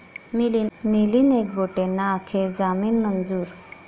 मिलिंद एकबोटेंना अखेर जामीन मंजूर